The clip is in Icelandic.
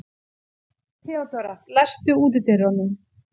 Theodóra, læstu útidyrunum.